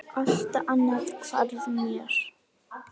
Allt annað hvarf mér.